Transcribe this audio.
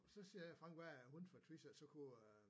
Og så siger faren hvad er hun fra Tvis af så kunne øh